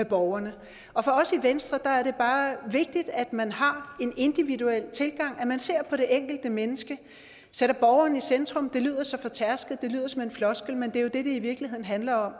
borgerne og for os i venstre er det bare vigtigt at man har en individuel tilgang at man ser på det enkelte menneske og sætter borgeren i centrum det lyder så fortærsket det lyder som en floskel men det er jo det det i virkeligheden handler om